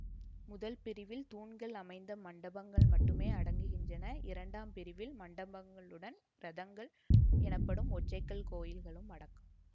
முதல் பிரிவில் தூண்கள் அமைந்த மண்டபங்கள் மட்டுமே அடங்குகின்றன இரண்டாம் பிரிவில் மண்டபங்களுடன் இரதங்கள் எனப்படும் ஒற்றைக்கல் கோயில்களும் அடக்கம்